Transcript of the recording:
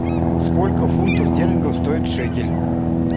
сколько фунтов стерлингов стоит шекель